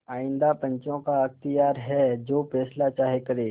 आइंदा पंचों का अख्तियार है जो फैसला चाहें करें